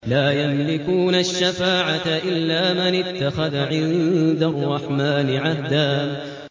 لَّا يَمْلِكُونَ الشَّفَاعَةَ إِلَّا مَنِ اتَّخَذَ عِندَ الرَّحْمَٰنِ عَهْدًا